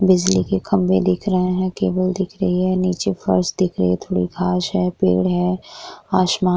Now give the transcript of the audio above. बिजली के खम्भे दिख रहे है। केबल दिख रही है। निचे फर्स दिख रही है। थोड़ी घास है पेड़ है आसमान --